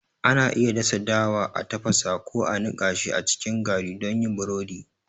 Ana iya dasa dawa, a tafasa, ko a niƙa shi a cikin gari don yin burodi.